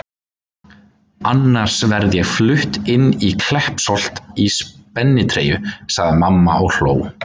Annars verð ég flutt inn í Kleppsholt í spennitreyju sagði mamma og hló.